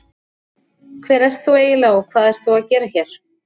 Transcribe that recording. Hver ert þú eiginlega og hvað ert þú að gera hér?